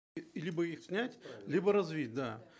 э либо их снять либо развить да